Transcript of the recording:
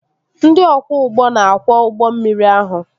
Ndị ọkwọ ụgbọ na-akwọ ụgbọ mmiri ahụ